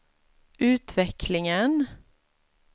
utvecklingen